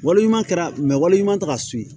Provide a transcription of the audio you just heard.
Waleɲuman kɛra wali ɲuman tɛ ka s'u ma